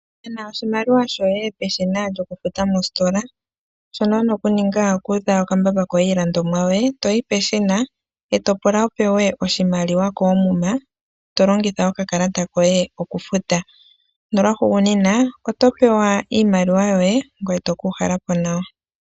Nana oshimaliwa shoye peshina lyokufuta mositola, shono wuna okuninga, okuudha okambamba iilandomwa yoye toyi peshina ee topula wupewe oshimaliwa koomuma tolongitha okakalata koye okufuta. Nolwahugunina oto pewa iimaliwa yoye ngoye tokuuhalapo nawa.